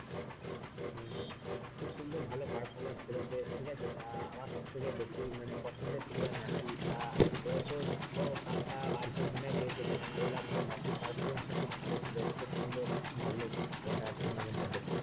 খুব সুন্দর ভালো performance ঠিক আছে তা আমার সব থেকে বেশি মানে পছন্দের player মেসি তা এ বছর কাপ তা আর্জেন্টিনা পেয়েছে ভালো লাগলো মেসির performance ও খুব ভালো ছিল খুব সুন্দর লাগলো খেলাটা টুর্নামেন্টে দেখে,